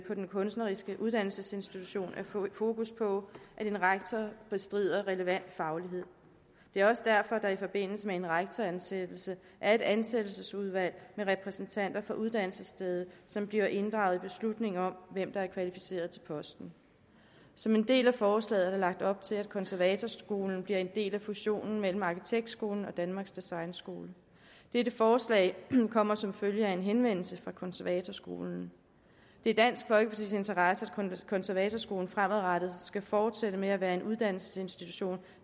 en kunstnerisk uddannelsesinstitution er fokus på at en rektor besidder relevant faglighed det er også derfor at der i forbindelse med en rektoransættelse er et ansættelsesudvalg med repræsentanter for uddannelsesstedet som bliver inddraget i beslutningen om hvem der er kvalificeret til posten som en del af forslaget er der lagt op til at konservatorskolen bliver en del af fusionen mellem arkitektskolen og danmarks designskole dette forslag kommer som følge af en henvendelse fra konservatorskolen det er dansk folkepartis interesse at konservatorskolen fremadrettet skal fortsætte med at være en uddannelsesinstitution